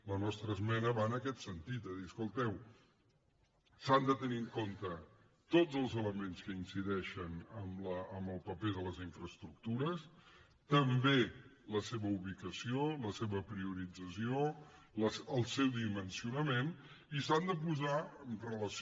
la nostra esmena va en aquest sentit de dir escolteu s’han de tenir en compte tots els elements que incideixen en el paper de les infraestructures també la seva ubicació la seva priorització el seu dimensionament i s’han de posar en relació